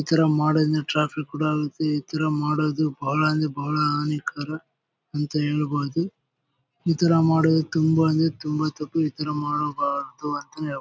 ಈ ತರ ಮಾಡೋದ್ರೀನ ಟ್ರಾಫಿಕ್ ಕೂಡ ಆಗುತ್ತೆ. ಈ ತರ ಮಾಡೋದು ಬಹಳ ಅಂದ್ರೆ ಬಹಳ ನೇ ಕರೆಕ್ಟ್ ಅಂತ ಹೇಳಬಹುದು. ಈ ತರ ಮಾಡೋದು ತುಂಬಾ ಅಂದ್ರೆ ತುಂಬಾ ತಪ್ಪು. ಈ ತರ ಮಾಡಬಾರದು ಅಂತ ಹೇಳ್ಬೋದು.